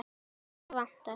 Hvað vantar?